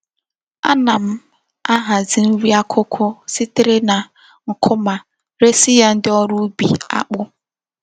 Ana m ahazi nri akuku sitere na nkwuma resi ya ndi órú ubi akpu.